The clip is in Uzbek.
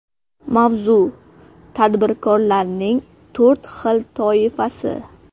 Mavzu: Tadbirkorlarning to‘rt xil toifasi.